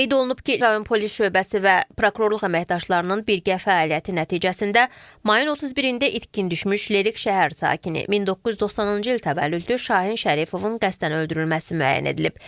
Qeyd olunub ki, rayon polis şöbəsi və prokurorluq əməkdaşlarının birgə fəaliyyəti nəticəsində mayın 31-də itkin düşmüş Lerik şəhər sakini, 1990-cı il təvəllüdlü Şahin Şərifovun qəsdən öldürülməsi müəyyən edilib.